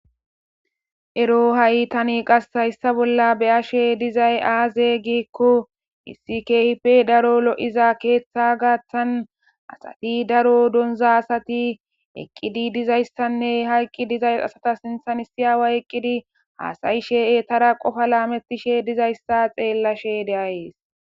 Eroo ha7i thani qassi hayssa bolla be7ashee dizay aazee giikko issi keehippe daro lo7iza keeththaa gaththan asathi daro donzzaa asathi eqqidi dizayssanne ha eqqi diza asatha sinththani issi aaway eqqidi haasa7ishee eethara qofa laameththishe dizayssa xeellashee de7ays.